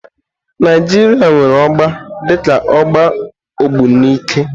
Naijiria nwere ọgba dika ọgba Ogbunike.